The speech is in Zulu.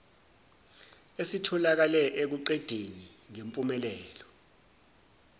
esitholakale ekuqedeni ngempumelelo